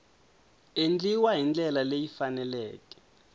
endliwa hi ndlela leyi faneleke